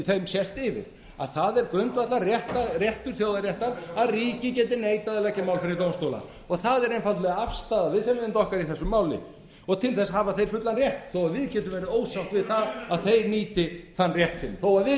þeim sést yfir það er grundvallarréttur þjóðaréttar að ríkið geti neitað að leggja mál fyrir dómstóla það er einfaldlega afstaða viðsemjenda okkar í þessu máli til þess hafa þeir fullan rétt þó við getum við ósátt við það að þeir nýti þann rétt sinn þó við séum